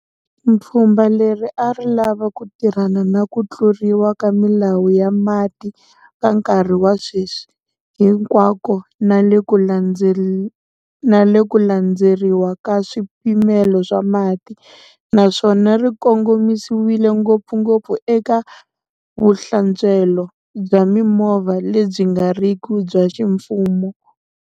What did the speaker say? Pfhumba leri a ri lava ku tirhana na ku tluriwa ka milawu ya mati ka nkarhi wa sweswi hinkwako na le ku landzeriwa ka swipimelo swa mati, naswona ri kongomisiwile ngopfungopfu eka vuhlantswelo bya mimovha lebyi nga riki bya ximfumo.